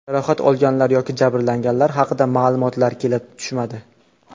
Jarohat olganlar yoki jabrlanganlar haqida ma’lumotlar kelib tushmadi.